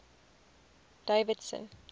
davidson